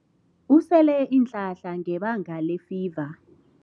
Usele iinhlahla ngebanga lefiva.